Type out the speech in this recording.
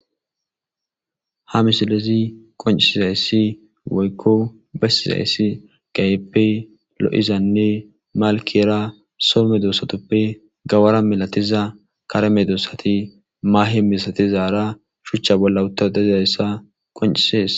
ha misilezi qoncizayssi woykko besizayssi gayeppe lo7izanne malkera soomedosatoppe gawara milatiza karemedossati maahe misatizaara shuchcha bolla utta dezzayssa qoncisees